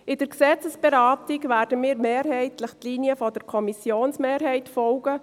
In der Gesetzesberatung werden wir mehrheitlich der Linie der Kommissionsmehrheit folgen.